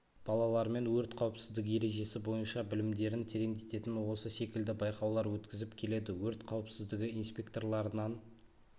балалармен өрт қауіпсіздігі ережесі бойынша білімдерін тереңдететін осы секілді байқаулар өткізіп келеді өрт қауіпсіздігі инспекторларынан